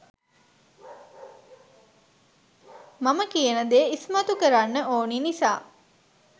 මම කියන දේ ඉස්මතු කරන්න ඕනි නිසා